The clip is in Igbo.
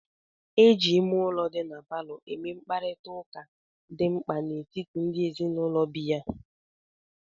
E ji ime ụlọ dị na palọ eme mkparịta ụka dị mkpa n'etiti ndị ezinụlọ bi ya.